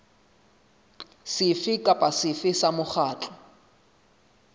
sefe kapa sefe sa mokgatlo